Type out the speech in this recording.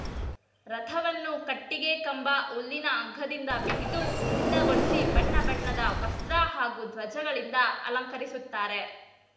ರಥವನ್ನು ಕಟ್ಟಿಗೆ ಕಂಬ ಹುಲ್ಲಿನ ಹಗ್ಗದಿಂದ ಬಿಗಿದು ಸಿದ್ದಗೊಳಿಸಿ ಬಣ್ಣ ಬಣ್ಣದ ವಸ್ತ್ರ ಹಾಗೂ ಧ್ವಜಗಳಿಂದ ಅಲಂಕರಿಸುತ್ತಾರೆ